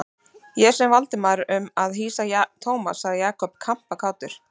Ég sem við Valdimar um að hýsa Thomas sagði Jakob kampakátur.